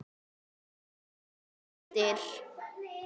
Hún heyrir raddir.